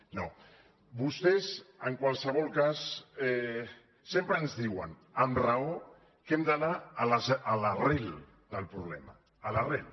no vostès en qualsevol cas sempre ens diuen amb raó que hem d’anar a l’arrel del problema a l’arrel